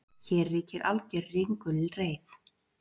Hér ríkir alger ringulreið